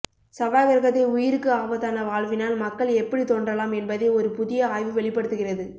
செவ்வாய் கிரகத்தில் உயிருக்கு ஆபத்தான வாழ்வினால் மக்கள் எப்படித் தோன்றலாம் என்பதை ஒரு புதிய ஆய்வு வெளிப்படுத்துகிறது